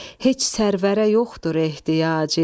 heç sərvərə yoxdur ehtiyacı.